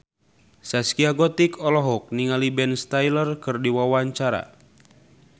Zaskia Gotik olohok ningali Ben Stiller keur diwawancara